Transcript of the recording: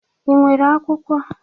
Ị nwere akwụkwọ?